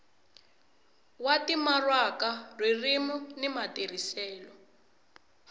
wa timaraka ririmi ni matirhiselo